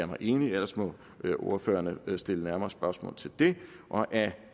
mig enig ellers må ordførerne stille nærmere spørgsmål til det af